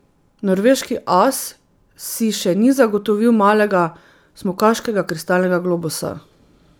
Norveški as si še ni zagotovil malega smukaškega kristalnega globusa.